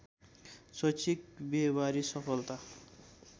शैक्षिक बिहेबारी सफलता